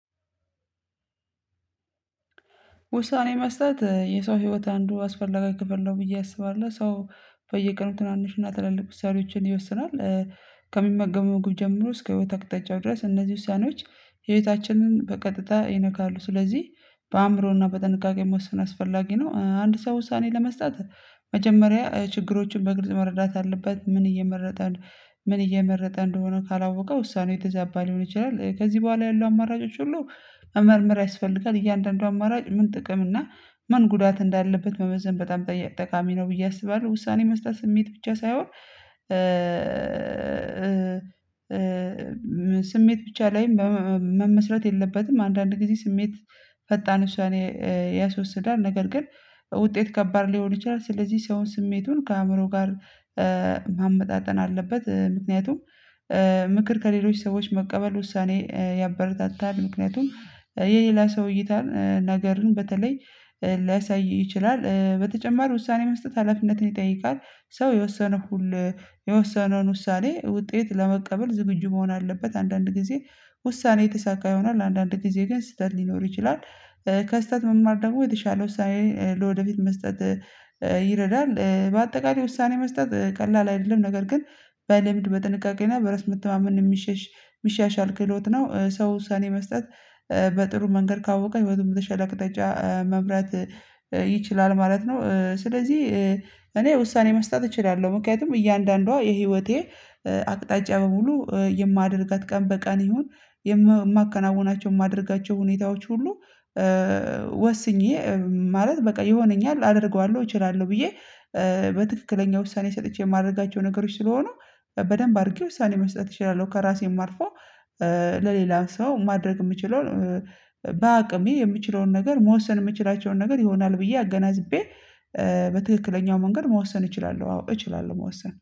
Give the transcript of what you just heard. ውሳኔ መስጠት የሰው ህይወት አንዱ አስፈላጊ ክፍል ነው ብዬ አስባለሁ። ሰው በየቀኑ ትናንሽና ትላልቅ ውሳኔዎችን ይወስናል። ከሚመገመው ወጉ ጀምሮ እስከ ህይወት አቅጣጫው ድረስ እነዚህ ውሳኔዎች ህይወታችንን በቀጥታ ይነካሉ። ስለዚህ በአእምሮና በጥንቃቄ መወሰን አስፈላጊ ነው። አንድ ሰው ውሳኔ ለመስጠት መጀመሪያ ችግሮችን በግልጽ መረዳት አለበት። ምን እየመረጠ ነው? ምን እየመረጠ እንደሆነ ካላወቀ ውሳኔው የተዛባ ሊሆን ይችላል። ከዚህ በኋላ ያለው አማራጮች ሁሉ መመርመር ያስፈልጋል። እያንዳንዱ አማራጭ ምን ጥቅም እና ምን ጉዳት እንዳለበት መመዘን በጣም ጠየቅ ጠቃሚ ነው። ብዬ አስባለሁ። ውሳኔ መስጠት ስሜት ብቻ ሳይሆን ስሜት ብቻ ላይ መመስረት የለበትም። አንዳንድ ጊዜ ስሜት ፈጣን ውሳኔ ያስወስዳል። ነገር ግን ውጤት ከባድ ሊሆን ይችላል። ስለዚህ ሰው ስሜቱን ከአእምሮ ጋር ማመጣጠን አለበት። ምክንያቱም ምክር ከሌሎች ሰዎች መቀበል ውሳኔ ያበረታታል። ምክንያቱም የሌላ ሰው እይታን ነገርን በተለይ ሊያሳይ ይችላል። በተጨማሪ ውሳኔ መስጠት ሀላፍነትን ይጠይቃል። ሰው የወሰነ ሁሉ የወሰነውን ውሳኔ ውጤት ለመቀበል ዝግጁ መሆን አለበት። አንዳንድ ጊዜ ውሳኔ የተሳካ ይሆናል አንዳንድ ጊዜ ግን ስህተት ሊኖር ይችላል። ከስህተት መማር ደግሞ የተሻለው ውሳኔ ለወደፊት መስጠት ይረዳል። በአጠቃላይ ውሳኔ መስጠት ቀላል አይደለም። ነገር ግን በልምድ በጥንቃቄና በራስ መተማመን የሚሸሽ የሚሻሽ ክህሎት ነው። ሰው ሰኔ መስጠት በጥሩ መንገድ ካወቀ በተሸለቀ አቅጠጫ መምራት ይችላል ማለት ነው። ስለዚህ እኔ ውሳኔ መስጠት እችላለሁ። ምክንያቱም እያንዳንዷ የህይወቴ አቅጣጫ በሙሉ የማደርጋት ቀን በቀን ይሁን የማከናውናቸው የማደርጋቸው ሁኔታዎች ሁሉ ወስኜ ማለት በቃ የሆነኛል። አደርገዋለሁ እችላለሁ ብዬ በትክክለኛ ውሳኔ ሰጥቼ የማደርጋቸው ነገሮች ስለሆኑ በደንብ አድርጌ ውሳኔ መስጠት እችላለሁ። ከራሴም አልፎ ለሌላ ሰው ማድረግ የምችለው በአቅሜ የምችለውን ነገር መወሰን የምችላቸውን ነገር ይሆናል። ብዬ አገናዝቤ በትክክለኛው መንገድ መወሰን እችላለሁ። አዎ እችላለሁ መወሰን